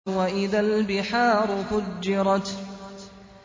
وَإِذَا الْبِحَارُ فُجِّرَتْ